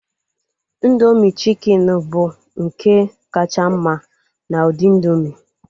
Indoomị chikin bụ nke kacha mma n'ụdị indoomị